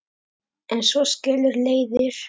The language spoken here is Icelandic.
En svo skilur leiðir.